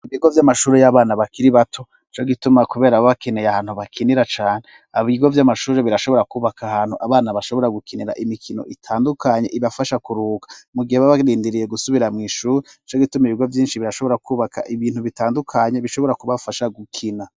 Ibigo vy'amashuru y'abana bakiri bato co gituma, kubera ababakeneye ahantu bakinira cane abigo vy'amashuru birashobora kwubaka ahantu abana bashobora gukinira imikino itandukanye ibafasha kuruka mugihe babarindiriye gusubira mw'ishuru c' gituma ibiro vyinshi birashobora kwubaka ibintu bitandukanye bishobora kubafasha gukina.